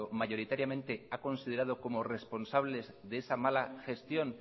mayoritariamente ha considerado como responsables de esa mala gestión